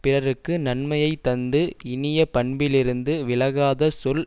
பிறர்க்கு நன்மையை தந்து இனிய பண்பிலிருந்து விலகாத சொல்